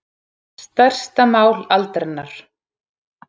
Stærsta mál aldarinnar